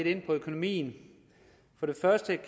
inde på økonomien